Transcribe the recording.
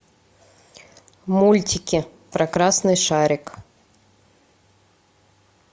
мультики про красный шарик